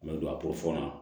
N bɛ don a bolo fɔɔnɔ